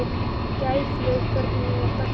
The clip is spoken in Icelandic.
Gæflaug, hvernig er dagskráin?